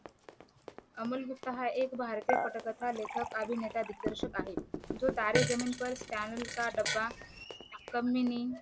अमोल गुप्ता हा एक भारतीय पटकथा लेखक अभिनेता दिग्दर्शक आहे जो तारे जमीनपर स्टॅनली का डब्बा कमिणी